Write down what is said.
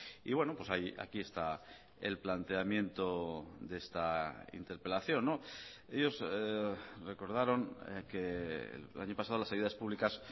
y bueno aquí está el planteamiento de esta interpelación ellos recordaron que el año pasado las ayudas públicas